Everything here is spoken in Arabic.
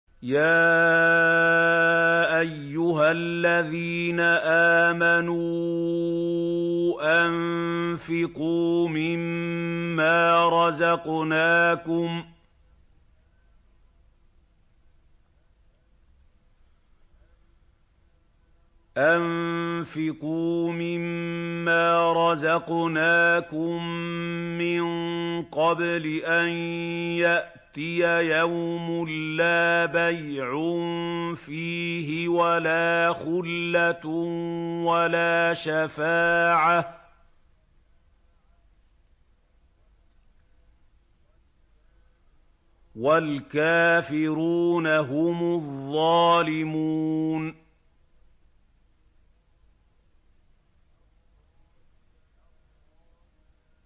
يَا أَيُّهَا الَّذِينَ آمَنُوا أَنفِقُوا مِمَّا رَزَقْنَاكُم مِّن قَبْلِ أَن يَأْتِيَ يَوْمٌ لَّا بَيْعٌ فِيهِ وَلَا خُلَّةٌ وَلَا شَفَاعَةٌ ۗ وَالْكَافِرُونَ هُمُ الظَّالِمُونَ